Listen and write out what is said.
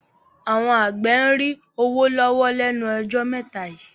Àwọn àgbẹ̀ ń rí owó lọ́wọ́ lẹ́nu ọjọ́ mẹ́ta yìí